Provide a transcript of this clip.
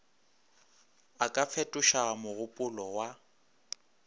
a ka fetoša mogopolo wa